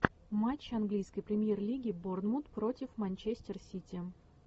матч английской премьер лиги борнмут против манчестер сити